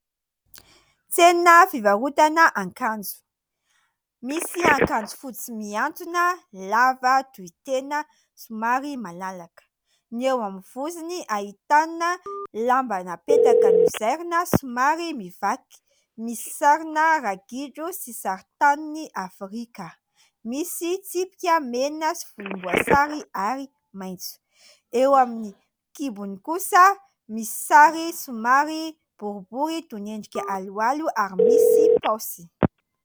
Tsena fivarotana akanjo. Misy akanjo fotsy mihantona lava tohitena somary malalaka, ny eo amin'ny vozony : ahitana lamba napetaka nozairina somary mivaky misy sarina ragidro sy sarintanin'ny afrika misy tsipika mena sy volomboasary ary maitso, eo amin'ny kibony kosa misy sary somary boribory toy ny endrika halohalo ary misy paosy.